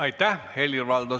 Aitäh!